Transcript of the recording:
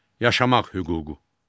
Yaşamaq hüququ.